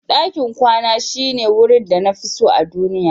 Dakin kwana Na shine wurin da na fi so a duniya.